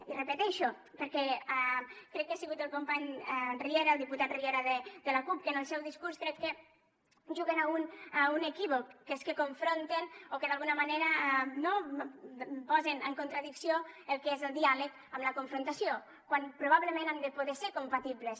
i ho repeteixo perquè crec que ha sigut el company riera el diputat riera de la cup que en el seu discurs crec que juguen a un equívoc que és que confronten o que d’alguna manera no posen en contradicció el que és el diàleg amb la confrontació quan probablement han de poder ser compatibles